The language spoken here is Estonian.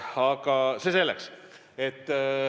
Aga see selleks.